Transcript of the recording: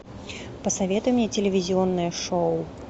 посоветуй мне телевизионное шоу